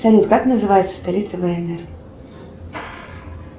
салют как называется столица внр